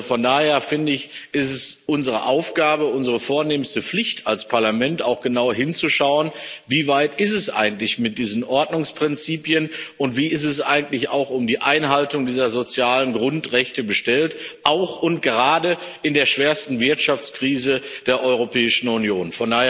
Von daher, finde ich, ist es unsere Aufgabe, unsere vornehmste Pflicht als Parlament, auch genau hinzuschauen Wie weit ist es eigentlich mit diesen Ordnungsprinzipien und wie ist es eigentlich auch um die Einhaltung dieser sozialen Grundrechte bestellt, auch und gerade in der schwersten Wirtschaftskrise der Europäischen Union?